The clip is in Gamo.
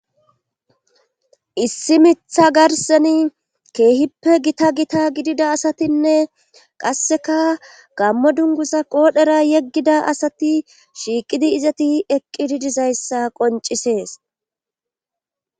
Issi mitha garseni keehippe gita gita gidida asatinne qasseka gammo dunguza qoodhera yeggida asati shiiqidi izati eqqididizayssa qoncisees.